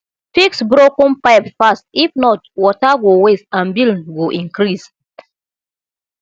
fix broken pipe fast if not water go waste and bill go increase